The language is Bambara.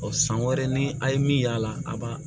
san wɛrɛ ni a' ye min y'a la a b'a